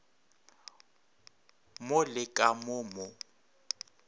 mo le ka mo mo